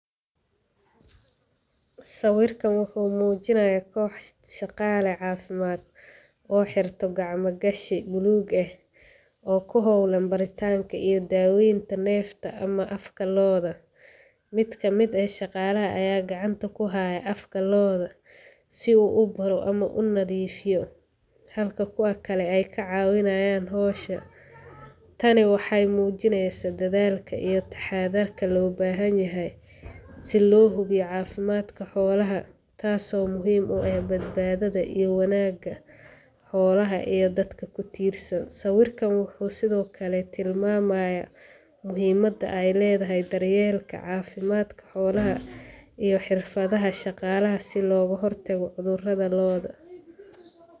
Sawiirkaan wuxuu mujinaaya koox shaqaala cafimaad, oo xirtay gacmo gashi buluug ah, oo kuhoolan baaritanka ama daawenta neefta ama afka looda, mid kamid ah shaqaala ayaa gacanta kuhaaya afka looda, si uu ubaaro ama unadiifiyo, halka kuwa kale aay ka caawinayaan howsha, tani waxeey muujineysa dadaalka iyo taxadarka loo baahan yahay, si loo hubiyo cafimaadka xoolaha, taas oo muhiim u ah badbaadada iyo wanaaga xoolaha iyo dadka kutiirsan, sawiirkaan wuxuu sido kale tilmaamaya, muhiimada aay ledahay daryeelka cafimaadka xoolaha iyo xirfadaha shaqaalaha si looga hor tago cuduraha looda.